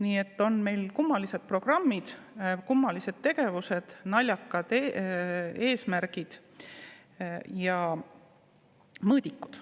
Nii et meil on kummalised programmid ja tegevused ning naljakad eesmärgid ja mõõdikud.